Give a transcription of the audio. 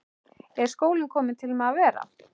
Er skólinn kominn til að vera?